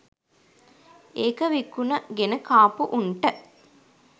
ඒක විකුණ ගෙන කාපු උන්ට